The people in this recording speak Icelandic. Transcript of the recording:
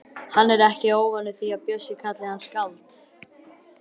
Hann er ekki óvanur því að Bjössi kalli hann skáld.